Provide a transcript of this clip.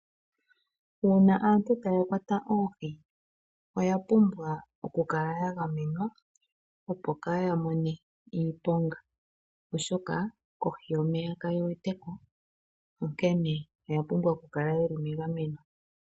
Uuna aantu taya kwata oohi oya pumbwa okukala ya gamenwa, opo kaa ya mone iiponga, oshoka kohi yomeya kaye wete ko, onkene oya pumbwa okukala ye li megameno.